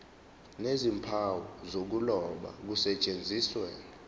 nezimpawu zokuloba kusetshenziswe